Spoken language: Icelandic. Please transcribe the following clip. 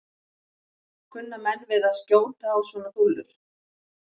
Kunna menn við að skjóta á svona dúllur?